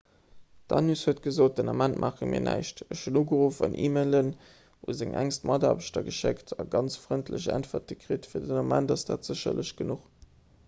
d'danius huet gesot den ament maache mir näischt ech hunn ugeruff an e-mailen un seng enkst mataarbechter geschéckt a ganz frëndlech äntwerte kritt fir den ament ass dat sécherlech genuch